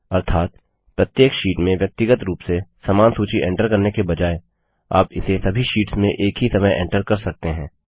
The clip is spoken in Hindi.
अर्थात प्रत्येक शीट में व्यक्तिगत रूप से समान सूची एंटर करने के बजाय आप इसे सभी शीट्स में एक ही समय एंटर कर सकते हैं